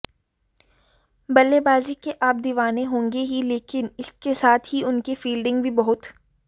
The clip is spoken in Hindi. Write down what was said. बल्लेबाजी के आप दीवाने होंगे ही लेकिन इसके साथ ही उनकी फील्डिंग भी बहुत